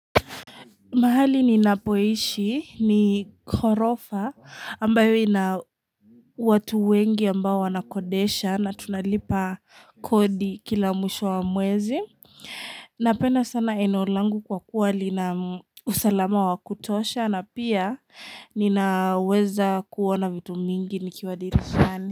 Mahali ninapoishi ni korofa ambayo ina watu wengi ambao wanakodesha na tunalipa kodi kila mwisho wa mwezi. Napenda sana eneo langu kwa kuwa lina usalama wa kutosha na pia ninaweza kuona vitu mingi nikiwa dirishani.